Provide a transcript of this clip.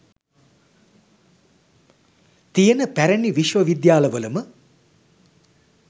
තියෙන පැරණි විශ්ව විද්‍යාලවලම